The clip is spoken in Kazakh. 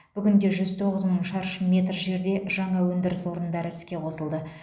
бүгінде жүз тоғыз мың шаршы метр жерде жаңа өндіріс орындары іске қосылды